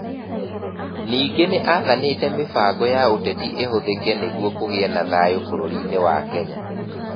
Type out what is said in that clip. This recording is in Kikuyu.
Ningĩ nĩ aathanĩte mĩbango ya ũteti ĩhũthĩke nĩguo kũgĩe na thayũ bũrũri-inĩ wa Kenya.